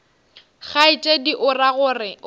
kgaetšedi o ra gore o